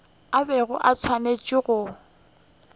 a bego a swanetše go